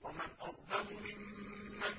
وَمَنْ أَظْلَمُ مِمَّن